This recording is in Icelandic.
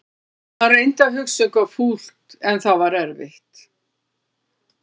Hann reyndi að hugsa um eitthvað fúlt en það var erfitt.